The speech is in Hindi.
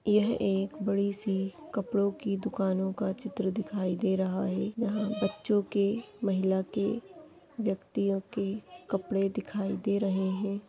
यह एक बड़ी सी कपड़ो की दुकानो का चित्र दिखाई दे रहा है यह बच्चो के महिला के व्यक्तियो के कपडे दिखाई दे रहा है।